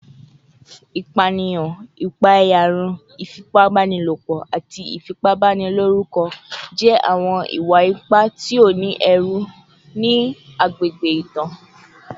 Ipaniyan, ipaeyarun, ifipabanilopo, ati ifipabaniloruko jẹ awọn iwa-ipa ti o ni ẹru ni agbegbe itan